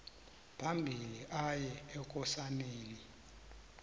phambili aye ekosaneni